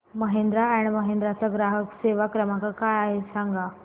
Mahindra and Mahindra चा ग्राहक सेवा क्रमांक काय आहे हे सांगा